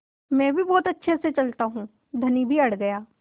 मैं भी बहुत अच्छे से चलता हूँ धनी भी अड़ गया